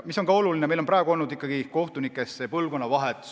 Oluline on, et praegu on olnud kohtutes põlvkonnavahetus.